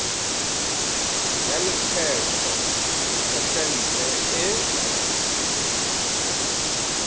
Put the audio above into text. ya lekgetho phesente e